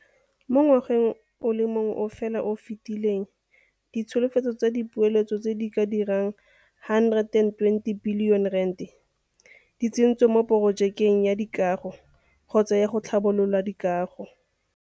Mo ngwageng o le mongwe fela o o fetileng ditsholofetso tsa dipeeletso tse di ka dirang R120 bilione di tsentswe mo porojekeng ya dikago kgotsa ya tlhabololo ya dikago.